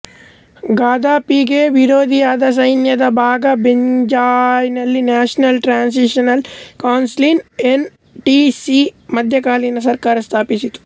ಗದಾಫಿಗೆ ವಿರೋಧಿಯಾದ ಸೈನ್ಯದ ಭಾಗ ಬೆಂಗಾಜಿ಼ಯಲ್ಲಿ national transitional council N T C ಮಧ್ಯಕಾಲಿನ ಸರ್ಕಾರ ಸ್ಥಾಪಿಸಿತು